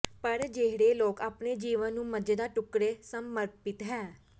ਪਰ ਜਿਹੜੇ ਲੋਕ ਆਪਣੇ ਜੀਵਨ ਨੂੰ ਮਜ਼ੇਦਾਰ ਟੁਕਡ਼ੇ ਸਮਰਪਿਤ ਹੈ